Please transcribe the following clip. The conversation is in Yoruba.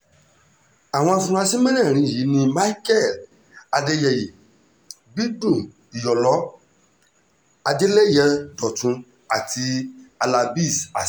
àwọn afurasí mẹ́rẹ̀ẹ̀rin yìí ni michael adéyẹyẹ bídún iyọlọ adélẹyẹ dọ́tun àti halábéez azeez